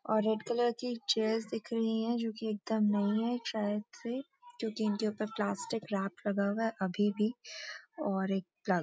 और red colour की chairs दिख रही हैं जो कि एकदम नई है शायद से जोकि इनके ऊपर प्‍लास्टिक रेप लगा हुआ है अभी भी और एक --